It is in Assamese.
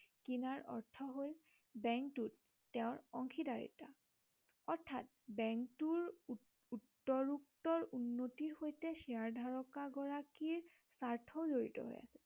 কিনাৰ অৰ্থ হল বেংকটোত তেওঁৰ অংশীদাৰীত্ব অৰ্থাৎ বেংকটোৰ উত্তৰোত্তৰ উন্নতিৰ সৈতে শ্বেয়াৰ ধাৰক গৰাকীৰ স্বাৰ্থ জৰিত হৈ আছে